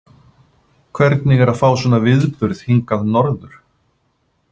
Hvernig er að fá svona viðburð hingað norður?